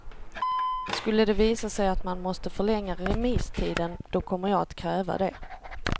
Skulle det visa sig att man måste förlänga remisstiden, då kommer jag att kräva det.